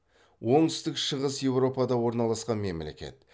оңтүстік шығыс еуропада орналасқан мемлекет